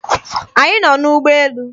Anyị nọ n'ụgbọ elu.